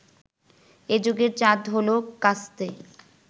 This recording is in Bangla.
এ যুগের চাঁদ হলো কাস্তে